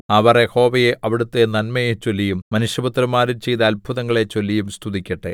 അവർ യഹോവയെ അവിടുത്തെ നന്മയെചൊല്ലിയും മനുഷ്യപുത്രന്മാരിൽ ചെയ്ത അത്ഭുതങ്ങളെ ചൊല്ലിയും സ്തുതിക്കട്ടെ